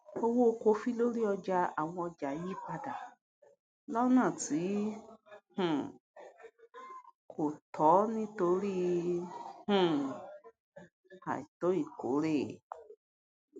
owó kọfí lórí ọjà àwọn ọjà yí padà lọnà tí um kò tọ nítorí um àìtó ìkórè